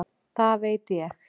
Það veit ég.